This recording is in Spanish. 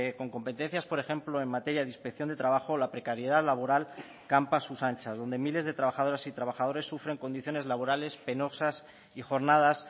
con competencias por ejemplo en materia de inspección de trabajo la precariedad laboral campa a sus anchas donde miles de trabajadoras y trabajadores sufren condiciones laborales penosas y jornadas